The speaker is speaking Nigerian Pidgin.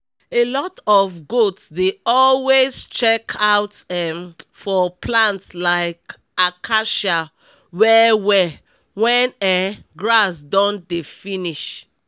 alot of goats dey always check out um for plants like acacia well well wen um grass don dey finish